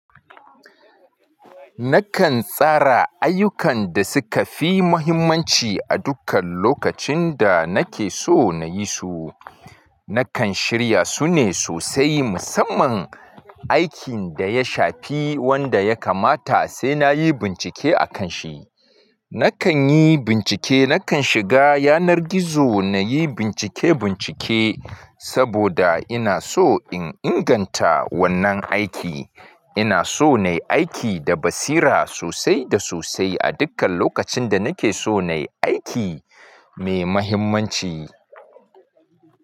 Nakan tsara ayyukan da suka fi muhimmanci a dukkan lokacin da nake so na yi su. Nakan shirya su ne sosai musamman aikin da ya shafi wanda ya kamata sai na yi bincike akan shi. Nakan yi bincike, nakan shiga yanar gizo na yi bincike-bincike saboda ina so in inganta wannan aiki. Ina so na yi aiki da basira sosai da sosai a dukkan lokacin da nake so na yi aiki mai muhimmanci.